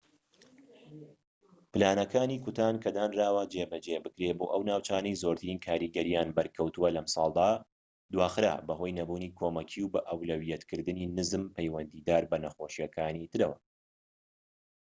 پلانەکانی کوتان کە دانراوە جێبەجێ بکرێت بۆ ئەو ناوچانەی زۆرترین کاریگەریان بەرکەوتووە لەمساڵدا دواخرا بەهۆی نەبوونی کۆمەکی و بەئەولەویەتکردنی نزم پەیوەندیدار بە نەخۆشیەکانی ترەوە